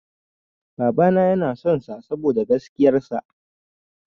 Babana yana son sa saboda gaskiyar sa.